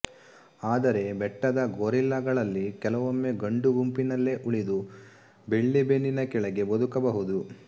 ಆದರೆ ಬೆಟ್ಟದ ಗೊರಿಲ್ಲಗಳಲ್ಲಿ ಕೆಲವೊಮ್ಮೆ ಗಂಡು ಗುಂಪಿನಲ್ಲೇ ಉಳಿದು ಬೆಳ್ಳಿಬೆನ್ನಿನ ಕೆಳಗೆ ಬದುಕ ಬಹುದು